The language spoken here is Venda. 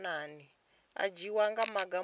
u dzhia maga a mulayo